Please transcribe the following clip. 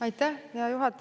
Aitäh, hea juhataja!